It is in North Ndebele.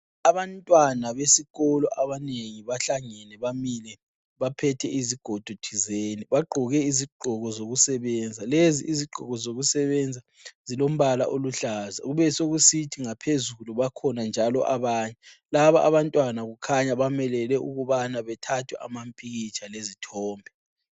Abantwana besikolo abanengi bahlangane bamile baphethe izigodo thizeni. Bagqoke izigodo zokusebenza. Lezi izigqoko zokusebenza zilombala oluhlaza. Kube sekusithi ngaphezulu bakhona njalo abanye. Laba abantwana kukhanya bamelele ukubana bethathwe amapikitsha lezithombe.